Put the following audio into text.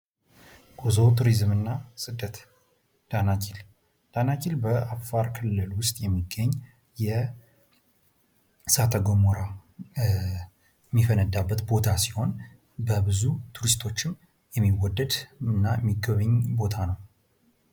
ጉዞ ፣ ቱሪዝምና ስደት ዳናኪል፦ ዳናኪል በአፋር ክልል ውስጥ የሚገኝ የእሳተ ጎመራ የሚፈነዳበት ቦታ ሲሆን በብዙ ቱሪስቶችም የሚወደድ እና የሚጎበኝ ቦታ ነው ።